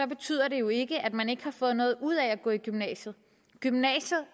betyder det jo ikke at man ikke har fået noget ud af at gå i gymnasiet gymnasiet